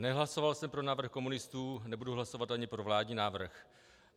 Nehlasoval jsem pro návrh komunistů, nebudu hlasovat ani pro vládní návrh.